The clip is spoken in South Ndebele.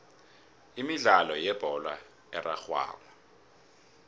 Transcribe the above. imidlalo yebholo erarhwako